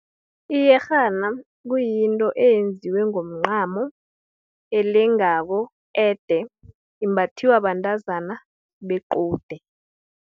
Iyerhana, kuyinto eyenziwe ngomncamo, elengako, ede, imbathwa bantazana bequde.